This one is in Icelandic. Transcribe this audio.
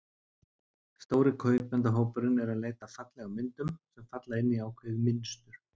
Stóri kaupendahópurinn er að leita eftir fallegum myndum, sem falla inn í ákveðið mynstur.